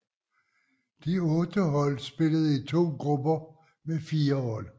De otte hold spillede i to grupper med fire hold